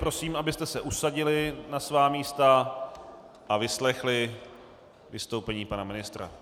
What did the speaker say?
Prosím, abyste se usadili na svá místa a vyslechli vystoupení pana ministra.